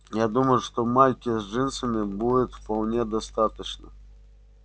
я думаю что майки с джинсами будет вполне достаточно